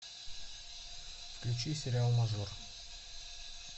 включи сериал мажор